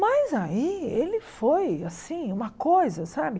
Mas aí ele foi, assim, uma coisa, sabe?